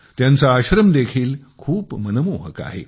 त्यांचा आश्रम देखील खूप मनमोहक आहे